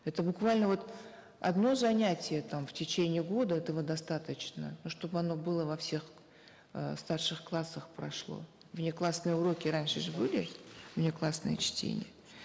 это буквально вот одно занятие там в течение года этого достаточно но чтобы оно было во всех э старших классах прошло внеклассные уроки раньше же были внеклассные чтения